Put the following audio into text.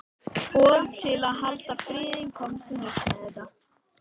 Og til að halda friðinn komst hún upp með þetta.